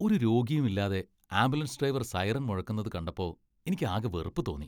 ഒരു രോഗിയും ഇല്ലാതെ ആംബുലൻസ് ഡ്രൈവർ സൈറൺ മുഴക്കുന്നത് കണ്ടപ്പോ എനിക്ക് ആകെ വെറുപ്പ് തോന്നി .